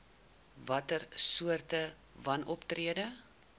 watter soorte wanoptrede